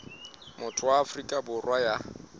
motho wa afrika borwa ya